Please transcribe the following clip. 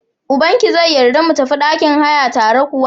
Ubankia zai yarda ka mu tafi ɗakin haya tare kuwa?